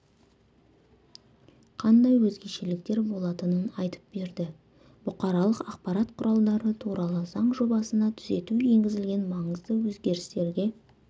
қандай өзгешеліктер болатынын айтып берді бұқаралық ақпарат құралдары туралы заң жобасына түзету енгізілген маңызды өзгерістерге